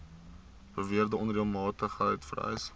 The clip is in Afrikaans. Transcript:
beweerde onreëlmatigheid vereis